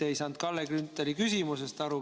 Te ei saanud Kalle Grünthali küsimusest aru.